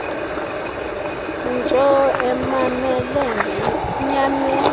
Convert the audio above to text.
ntsho emamele ngenyameko